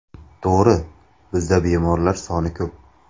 To‘g‘ri, bizda bemorlar soni ko‘p.